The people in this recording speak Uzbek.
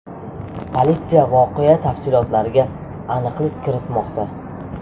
Politsiya voqea tafsilotlariga aniqlik kiritmoqda.